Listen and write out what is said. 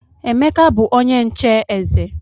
Emeka bu onye nche eze.